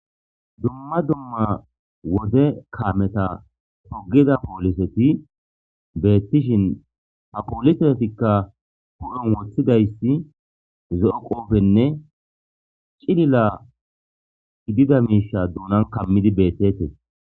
dumma dumma wode kameta hogida pooliseti beettishin ha pooliseetikka gu7on woththidayssi zo7o qoofenne cilila gidida miisha duunan kammidi beettete